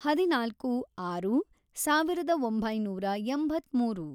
ಹದಿನಾಲ್ಕು, ಆರು, ಸಾವಿರದ ಒಂಬೈನೂರ ಎಂಬತ್ಮೂರು